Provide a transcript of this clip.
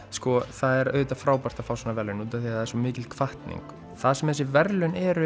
það er auðvitað frábært að fá svona verðlaun af því að það er svo mikil hvatning það sem þessi verðlaun eru